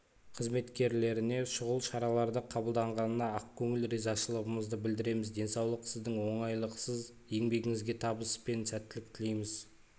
қызметкерлеріне шұғыл шараларды қабылданғанына ақкөніл ризашылығымызды білдіреміз денсаулық сіздің оңайлықсыз еңбегіңізге табыс пен сәттілік тілейміз